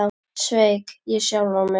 Sveik ég sjálfan mig?